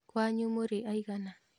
Kwanyu mũrĩ aigana?